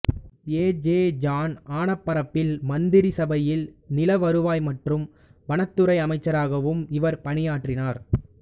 ஏ J John Anaparambil மந்திரி சபையில் நில வருவாய் மற்றும் வனத்துறை அமைச்சராகவும் இவர் பணியாற்றினார்